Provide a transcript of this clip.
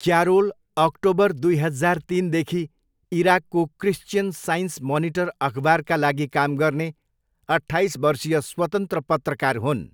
Carol October दुई हजार तिनदेखि इराकको क्रिस्चियन साइन्स मनिटर अखबारका लागि काम गर्ने अट्ठाइस वर्षीय स्वतन्त्र पत्रकार हुन्।